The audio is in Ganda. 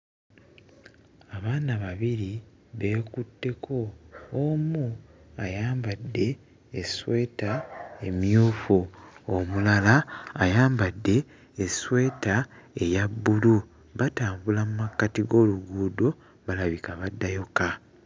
Abaana babiri beekutteko; omu ayambadde essweta emmyufu, omulala ayambadde essweta eya bbulu. Batambula mu makkati g'oluguudo balabika baddayo kka.